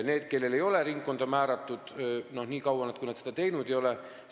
Need, kellele ei ole ringkonda määratud, ei saa ka hääletada, nii kaua kui neile ringkonda määratud ei ole.